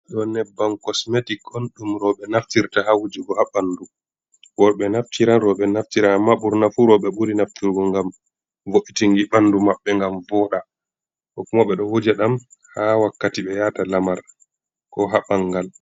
Ɗo nyebban kosmetic on ɗum rowɓe naftirta ha wujugo ha ɓandu. Worɓe naftiran rowɓe naftira, amma ɓurna fu rowɓe ɓuri naftirgo, ngam vo'itunki ɓandu maɓɓe, ngam vooɗa. Ko kuma ɓe ɗo wuja ɗam ha wakkati ɓe yaata lamar ko ha ɓangal.